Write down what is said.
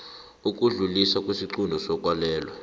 ukudluliswa kwesiqunto sokwalelwa